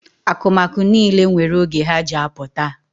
Akụmakụ niile nwere oge ha ji apụta.